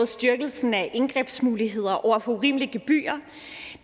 styrkelsen af indgrebsmuligheder over for urimelige gebyrer